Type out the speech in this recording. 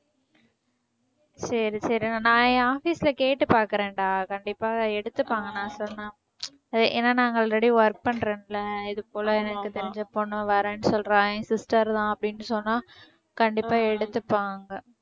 சரி சரி நான் என் office ல கேட்டு பார்க்கிறேன்டா கண்டிப்பா எடுத்துப்பாங்க நான் சொன்னா. ஏன்னா நான் already அங்க work பண்றேன்ல்ல இது போல எனக்கு தெரிஞ்ச பொண்ணு வரேன்னு சொல்றா என் sister தான் அப்படின்னு சொன்னா கண்டிப்பா எடுத்துப்பாங்க